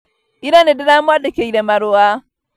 Ira nĩndĩramwandĩkĩire marũa